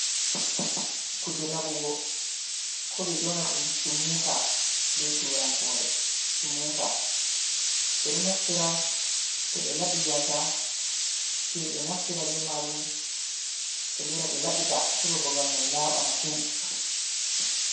Kuje laɓugo ko ɓe yonata dum sumuta be turankore, sumuta be ɗo naftira to ɓe laɓi gasa sei ɓe naftira be majum be lora ɓe laɓita heba babal mai laaɓa mashin.